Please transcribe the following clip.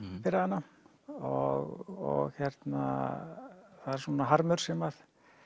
fyrir hana og hérna það er svona harmur sem